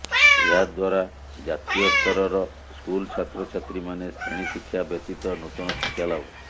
ଏହା ଦ୍ୱାରାଜାତୀୟସ୍ତରର ସ୍କୁଲ୍ ଛାତ୍ରଛାତ୍ରୀମାନେ ଶ୍ରେଣୀ ଶିକ୍ଷା ବ୍ୟତୀତ ନୂତନ ଶିକ୍ଷା ଲାଭ